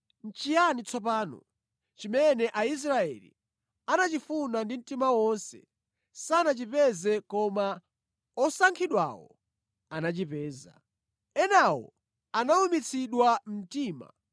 Nʼchiyani tsopano? Chimene Aisraeli anachifuna ndi mtima wonse sanachipeze koma osankhidwawo anachipeza. Enawo anawumitsidwa mtima